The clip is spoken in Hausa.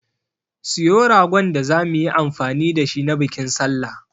Siyo ragon da zamu yi amfani da shi na bikin sallah.